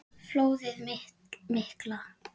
Flóðið mikla